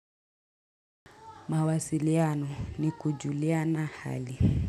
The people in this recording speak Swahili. Mawasiliano ni kujuliana hali.